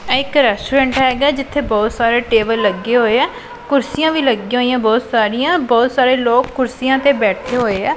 ਆਹ ਇਕ ਰੈਸਟੋਰੈਂਟ ਹੈਗਾ ਜਿੱਥੇ ਬਹੁਤ ਸਾਰੇ ਟੇਬਲ ਲੱਗੇ ਹੋਏ ਆ ਕੁਰਸੀਆਂ ਵੀ ਲੱਗੀਆਂ ਹੋਈਆਂ ਬਹੁਤ ਸਾਰੀਆਂ ਬਹੁਤ ਸਾਰੇ ਲੋਕ ਕੁਰਸੀਆਂ ਤੇ ਬੈਠੇ ਹੋਏ ਆ।